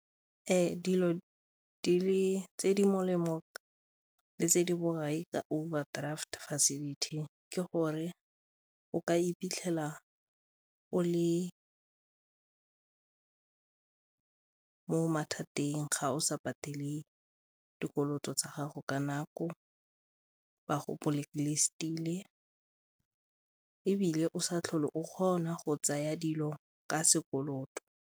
Dilo tse di molemo le tse di borai ka overdraft facility ke gore o ka iphitlhela o le mo mathateng ga o sa patele dikoloto tsa gago ka nako, ba go blacklist-ile ebile o sa tlhole o kgona go tsaya dilo ka sekoloto.